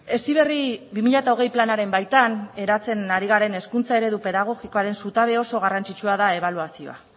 heziberri bi mila hogei planaren baitan eratzen ari garen hezkuntza eredu pedagogikoaren zutabe oso garrantzitsua da ebaluazioa